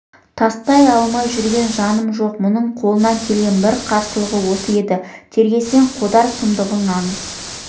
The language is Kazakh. тастай алмай жүрген жаным жоқ мұның қолынан келген бар қарсылығы осы еді тергесең қодар сұмдығын аңыз